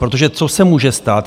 Protože co se může stát?